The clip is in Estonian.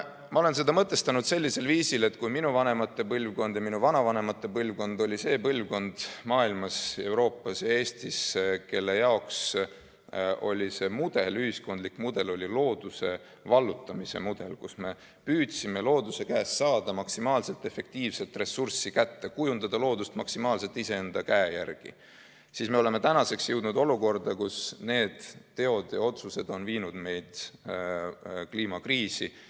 Ma olen seda mõtestanud sellisel viisil, et kui minu vanemate põlvkond ja minu vanavanemate põlvkond olid need põlvkonnad maailmas, Euroopas ja Eestis, kelle jaoks ühiskondlik mudel oli looduse vallutamise mudel, mille puhul inimene püüdis looduse käest maksimaalse efektiivsusega ressurssi kätte saada, kujundada loodust maksimaalselt iseenda käe järgi, siis meie oleme jõudnud olukorda, kus need teod ja otsused on viinud meid kliimakriisi.